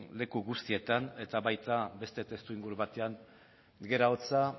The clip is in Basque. leku guztietan eta baita beste testuinguru batean gerra hotza